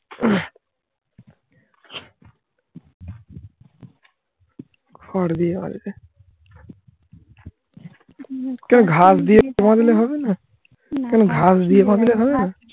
হারবে হারবে মুখটা ঘাস দিয়ে বাদলে হবে না? কেন ঘাস দিয়ে বাদলে হবে না?